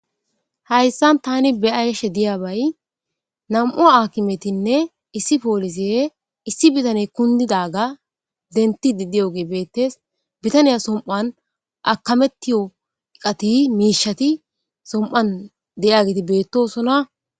hayssan tani beyashe diyabay nam7u akimetinne issi poolise issi bitane kundidaga denti diddiyoge beettes bitaniya som7an akamettiyo iqati miishati som7an de7ageti beettosona